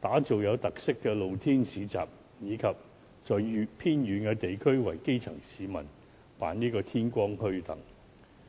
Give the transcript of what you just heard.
打造有特色的露天市集，以及在偏遠地區為基層市民辦天光墟等。